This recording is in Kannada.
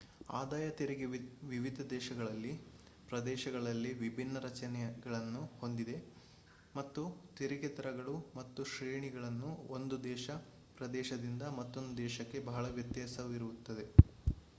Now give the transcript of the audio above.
ಆದಾಯ ತೆರಿಗೆ ವಿವಿಧ ದೇಶಗಳಲ್ಲಿ / ಪ್ರದೇಶಗಳಲ್ಲಿ ವಿಭಿನ್ನ ರಚನೆಗಳನ್ನು ಹೊಂದಿದೆ ಮತ್ತು ತೆರಿಗೆ ದರಗಳು ಮತ್ತು ಶ್ರೇಣಿಗಳನ್ನು ಒಂದು ದೇಶ / ಪ್ರದೇಶದಿಂದ ಮತ್ತೊಂದು ದೇಶಕ್ಕೆ ಬಹಳ ವ್ಯತ್ಯಾಸವಿರುತ್ತದೆ